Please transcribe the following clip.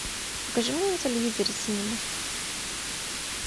покажи мне на телевизоре синема